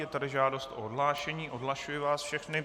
Je tady žádost o odhlášení, odhlašuji vás všechny.